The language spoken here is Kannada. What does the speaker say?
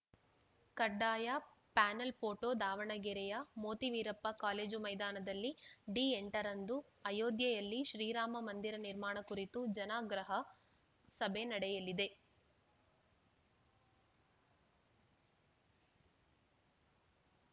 ಕಡ್ಡಾಯ ಪ್ಯಾನೆಲ್‌ ಫೋಟೋ ದಾವಣಗೆರೆಯ ಮೋತಿ ವೀರಪ್ಪ ಕಾಲೇಜು ಮೈದಾನದಲ್ಲಿ ಡಿ ಎಂಟರಂದು ಅಯೋಧ್ಯೆಯಲ್ಲಿ ಶ್ರೀರಾಮ ಮಂದಿರ ನಿರ್ಮಾಣ ಕುರಿತು ಜನಾಗ್ರಹ ಸಭೆ ನಡೆಯಲಿದೆ